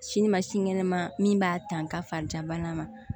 Sini ma sinikɛnɛ ma min b'a ta fari jabana ma